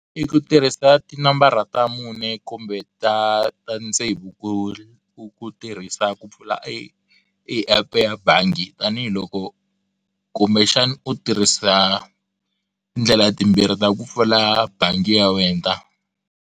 I ku tirhisa ti nambara ta mune kumbe ta ta tsevu ku ku ku tirhisa ku pfula epu ya bangi tanihiloko kumbe xana u tirhisa tindlela timbirhi ta ku pfula bangi ya wena.